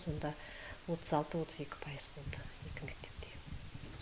сонда отыз алты отыз екі пайыз болды бүкіл мектепте